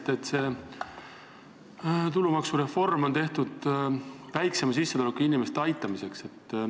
Te väitsite, et tulumaksureform on tehtud väiksema sissetulekuga inimeste aitamiseks.